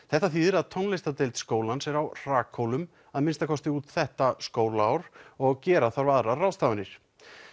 þetta þýðir að tónlistardeild skólans er á hrakhólum að minnsta kosti út þetta skólaár og gera þarf aðrar ráðstafanir